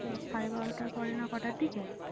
ও সাড়ে বারোটার পরে না কটার দিকে